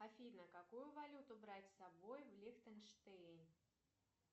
афина какую валюту брать с собой в лихтенштейн